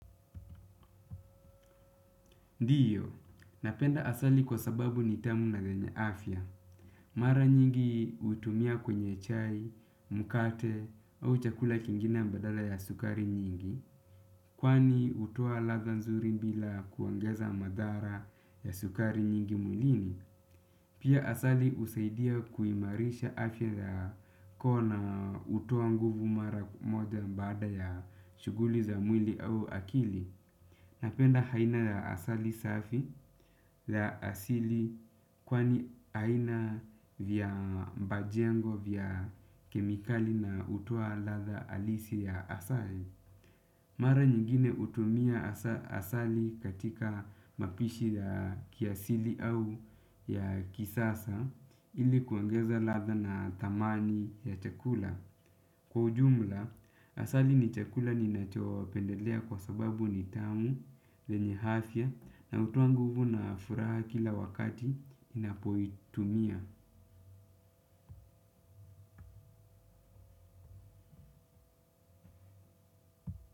Ndiyo, napenda asali kwa sababu nitamu na yenye afya. Mara nyingi utumia kwenye chai, mkate au chakula kingine badala ya sukari nyingi. Kwani hutoa ladha nzuri bila kuongeza madhara ya sukari nyingi mwilini. Pia asali husaidia kuimarisha afya ya koo na hutoa nguvu mara moja baada ya shuguli za mwili au akili. Napenda aina ya asali safi ya asili kwani haina vya mbajengo vya kemikali na hutoa ladha halisi ya asali. Mara nyingine hutumia asali katika mapishi ya kiasili au ya kisasa ilikuongeza ladha na thamani ya chakula. Kwa ujumla, asali ni chakula ninacho pendelea kwa sababu ni tamu yenye afya na hutoa nguvu na furaha kila wakati ninapoitumia.